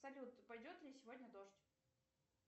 салют пойдет ли сегодня дождь